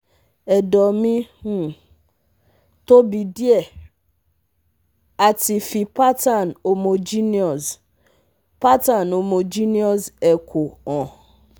Edo mi um tobi die ati fi pattern homogenous pattern homogenous echo han